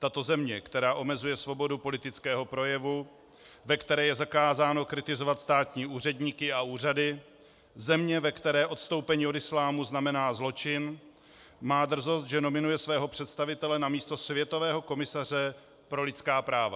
Tato země, která omezuje svobodu politického projevu, ve které je zakázáno kritizovat státní úředníky a úřady, země, ve které odstoupení od islámu znamená zločin, má drzost, že nominuje svého představitele na místo světového komisaře pro lidská práva.